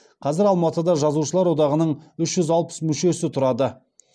қазір алматыда жазушылар одағының үш жүз алпыс мүшесі тұрады